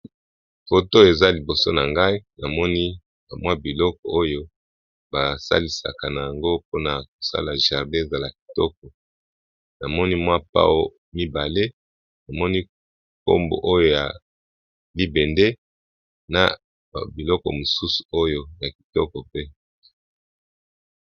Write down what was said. Foto eza liboso na ngai namoni ba mwa biloko oyo basalisaka nango mpona kosala jardin ezala kitoko namoni mwa pao mibale namoni nkombo oyo ya libende na biloko mosusu oyo ya kitoko pe.